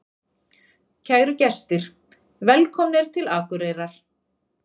Kæru gestir! Velkomnir til Akureyrar.